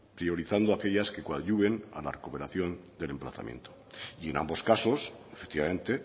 priorizando aquellas que coadyuven a la recuperación del emplazamiento y en ambos casos efectivamente